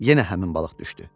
Yenə həmin balıq düşdü.